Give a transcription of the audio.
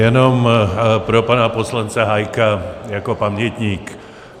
Jenom pro pana poslance Hájka jako pamětník.